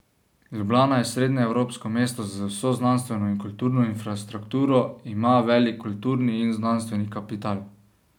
Ljubljana je srednjeevropsko mesto z vso znanstveno in kulturno infrastrukturo, ima velik kulturni in znanstveni kapital.